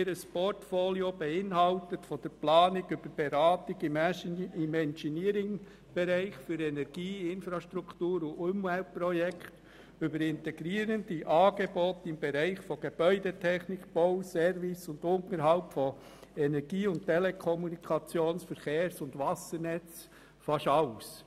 Ihr Portfolio umfasst von der Planung über die Beratung im Engeneeringbereich für Energie, Infrastruktur und Umweltprojekte bis hin zu integrierenden Angeboten im Bereich Gebäudetechnik, Bau, Service und Unterhalt von Energie- und Telekommunikations-, Verkehrs- und Wassernetzen fast alles.